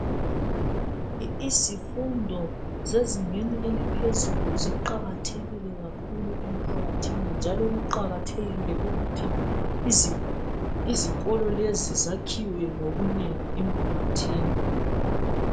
Izifundo zezingeni eliphezulu ziqakathekile kakhulu emphakathini njalo kuqakathekile ukuthi izikolo lezi zakhiwe ngobunengi emphakathini